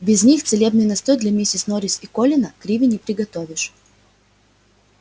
без них целебный настой для миссис норрис и колина криви не приготовишь